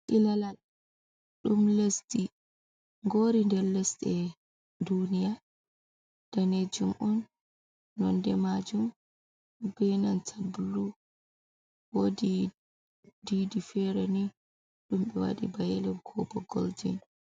Ilalal ɗum lesdi gori nder lesɗe duniya danejum on nonde majum benanta blu wodi diii fere ni ɗumbe waɗi ba yelo ko bo golden.